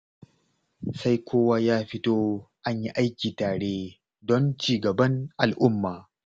Sai kowa ya fito an yi aiki tare don cigaban al'umma.